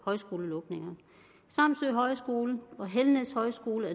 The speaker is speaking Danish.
højskolelukninger samsø højskole og helnæs højskole